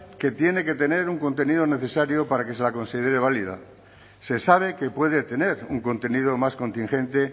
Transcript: que tiene que tener un contenido necesario para que se la considere válida se sabe que puede tener un contenido más contingente